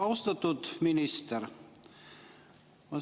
Austatud minister!